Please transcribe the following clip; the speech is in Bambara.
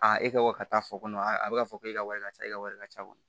A e ka bɔ ka taa fɔ a bɛ ka fɔ ko e ka wari ka ca e ka wari ka ca kɔni